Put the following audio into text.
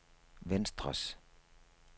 venstres